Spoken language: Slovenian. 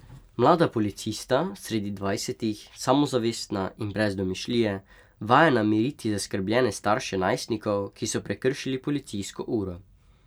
Mlada policista, sredi dvajsetih, samozavestna in brez domišljije, vajena miriti zaskrbljene starše najstnikov, ki so prekršili policijsko uro.